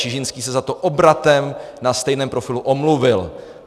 Čižinský se za to obratem na stejném profilu omluvil.